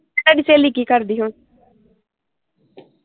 ਤੁਹਾਡੀ ਸਹੇਲੀ ਕੀ ਕਰਦੀ ਹੁਣ